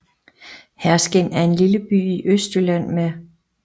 Herskind er en lille by i Østjylland med